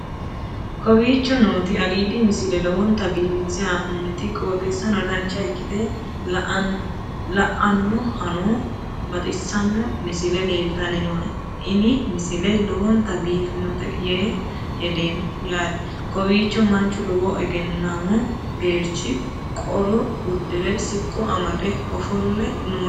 kowicho nooti aliidi misile lowonta biifinse haa'noonniti qooxeessano dancha ikkite la'annohano baxissanno misile leeltanni nooe ini misile lowonta biifffinnote yee hedeemmo yaate kowiicho manchu lowo egennammo geerchi qolo uddire siqqo amade ofolle nooti leeltanno